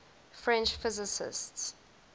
french physicists